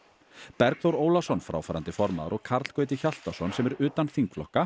Bergþór Ólason fráfarandi formaður og Karl Gauti Hjaltason sem er utan þingflokka